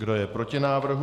Kdo je proti návrhu?